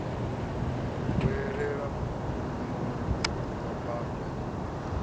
vhuelela mugumoni wa bada i